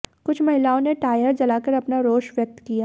कुछ महिलाओं ने टायर जलाकर अपना रोष व्यक्त किया